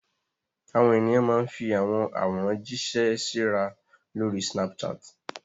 Àwọn ènìyàn máa ń fi àwọn àwòrán jíṣẹ́ síra lórí Snapchat.